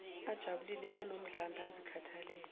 ajabulile anomdlandla azikhathalele